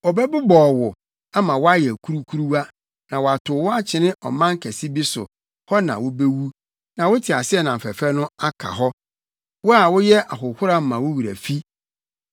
Ɔbɛbobɔw wo, ama woayɛ kurukuruwa, na watow wo akyene ɔman kɛse bi so hɔ na wubewu na wo teaseɛnam fɛfɛ no aka hɔ, wo a woyɛ ahohora ma wo wura fi!